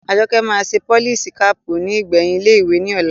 Àjọkẹ́ máa ṣe polisi kaàpù ní ìgbẹ̀yìn ilé ìwé ní ọ̀la